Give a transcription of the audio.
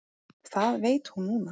Það veit hún núna.